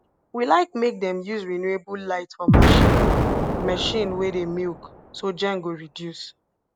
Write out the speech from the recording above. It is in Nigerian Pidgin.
we like make dem use renewable light for marchin machine wey dey milk so gen go reduce